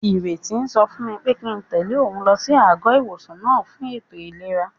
Ìrètí sọ fún mi pé kíi n tẹ̀lé òun lọ sí àgọ́-ìwòsàn náà fún ètò ìlera